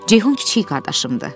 Ceyhun kiçik qardaşımdır.